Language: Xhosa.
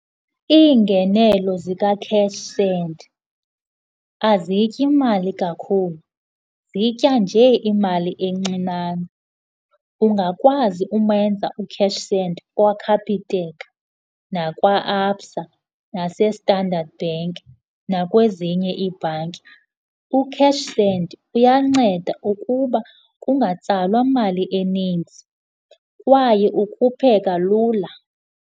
Iingenelo zika CashSend aziyityi imali kakhulu zitya nje imali encinane ungakwazi umenza uCashSend kwaCapitec nakwa-Absa naseStandard Bank nakwezinye iibhanki. UCashSend uyanceda ukuba kungatsalwa mali eninzi kwaye ukhupheka lula.